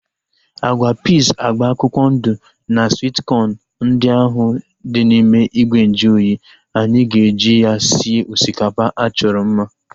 Agwa piiz agba akwụkwọ ndụ na swit kọn ndị ahu dị n'ime ìgwè nju oyi, anyị ga-eji ya sie osikapa achọrọ mma